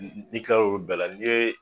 N'i kila la olu bɛɛl a n'i ye